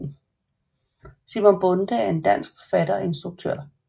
Simon Bonde en dansk forfatter og instruktør